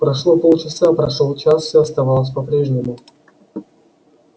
прошло полчаса прошёл час всё оставалось по прежнему